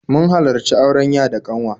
Mun halarci auren ya da ƙanwa